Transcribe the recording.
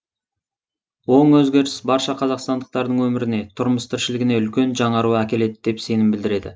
оң өзгеріс барша қазақстандықтардың өміріне тұрмыс тіршілігіне үлкен жаңару әкеледі деп сенім білдіреді